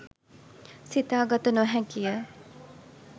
සිතා ගත නොහැකිය.